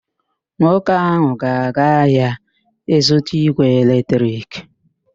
Nwoke ahụ ga-aga ahịa ịzụta ígwè eletrik.